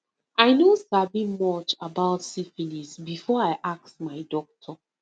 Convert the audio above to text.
i no sabi much about syphilis before i ask my doctor